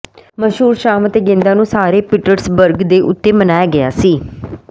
ਮਸ਼ਹੂਰ ਸ਼ਾਮ ਅਤੇ ਗੇਂਦਾਂ ਨੂੰ ਸਾਰੇ ਪੀਟਰਸਬਰਗ ਦੇ ਉੱਤੇ ਮਨਾਇਆ ਗਿਆ ਸੀ